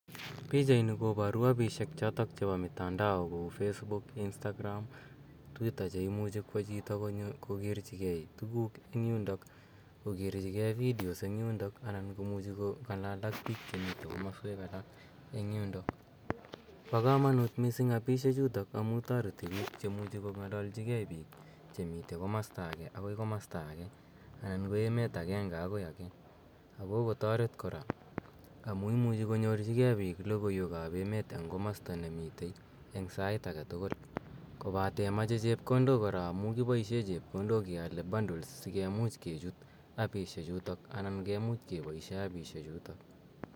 PIchaini koporu appishek chotok chepo mitandao kou facebook, instagram, twitter cheimuchi kwo chito konyo kokerchikei tuguk eng yundok, kokerchikei videos eng yundok anan komuchi kong'alal ak biik chemite komaswek alak eng yundok. Po komonut mising appishechutok amu toreti biik chemuchi kong'alalchikei biik chemite komasta ake akoi komasta ake anan ko emet akenke akoi emet ake akokotoret kora amu imuchi konyorchikei biik logoiwekap emet eng komosta nemite eng sait eketukul kobate moche chepkondok kora amu kipoishe chepkondok keale bundles sikemuch kechut apishechuto anan kemuch kepoishe appishechuto.